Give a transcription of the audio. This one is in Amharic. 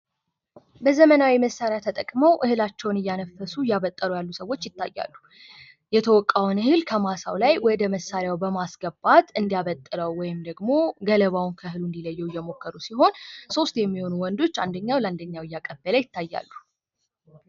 በዘመናዊ መሳርያ ተጠቅመው እህላቸውን እያነፈሱ እያበጠሩ ያሉ ሰዎች ይታያሉ ።የተወቃውን እህል ከማሳው ላይ ወደ መሳሪያው በማስገባት እንዲያበጥረው ወይም ደግሞ ገለባውን ከእህሉ እንዲለየው እየሞከሩ ሲሆን ሶስት የሚሆኑ ወንዶች አንደኛው ለ እንደኛው እያቃበለ ይታያሉ።